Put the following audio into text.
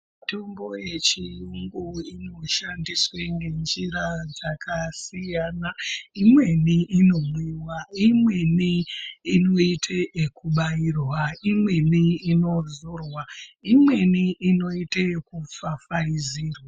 Mitombo yechiyungu inoshandiswa ngenjira dzakasiyana imweni inomwiwa imweni inoite ekubairwa imweni inodzorwa imweni inoite ekupfapfaidzirwa.